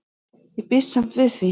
Ég býst samt við því.